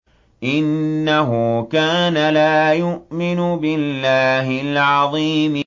إِنَّهُ كَانَ لَا يُؤْمِنُ بِاللَّهِ الْعَظِيمِ